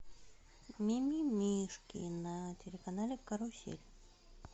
мимимишки на телеканале карусель